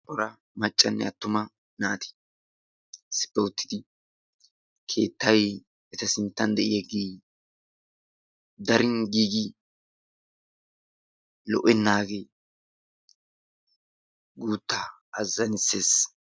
Cora maccanne attuma naati issippe uttidi keettayi issippe de"iyagee darin giigi lo"ennaage guuttaa azzanisses.